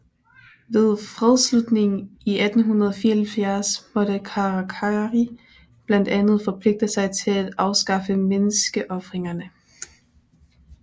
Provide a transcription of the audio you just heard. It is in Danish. Ved fredsslutningen 1874 måtte Karakari blandt andet forpligte sig til at afskaffe menneskeofringerne